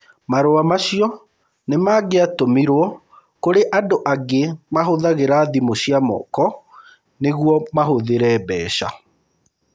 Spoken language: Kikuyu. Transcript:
Marũa macio nĩ mangĩatũmirũo kũrĩ andũ angĩ arĩa mahũthagĩra thimũ cia moko nĩguo mahũthĩre mbeca.